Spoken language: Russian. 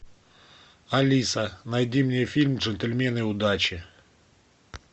алиса найди мне фильм джентльмены удачи